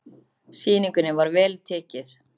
Sýningunni var vel tekið.